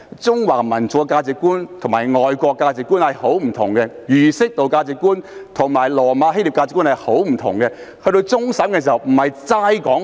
中華民族的價值觀與外國的價值觀是相當不同的，而儒釋道的價值觀與羅馬希臘的價值觀也十分不同。